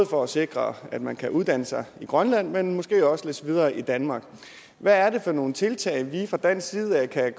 for at sikre at man kan både uddanne sig i grønland men måske også læse videre i danmark hvad er det for nogle tiltag vi fra dansk side kan